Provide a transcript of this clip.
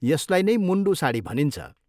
यसलाई नै मुन्डू साडी भनिन्छ।